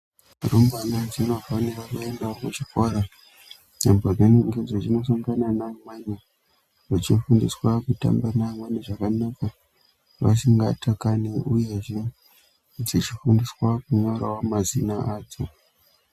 Rumbwana dzinofanira kuendawo kuchikora apo dzinenge dzichino sangana naamweni vechifundiswa kutamba naamweni zvakanaka vasingatakani, uyezve dzichifundiswa kunyorawo mazina adzo.